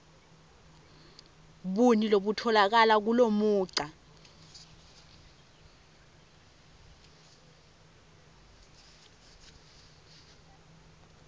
buni lobutfolakala kulomugca